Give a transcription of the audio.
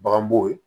Bagan b'o ye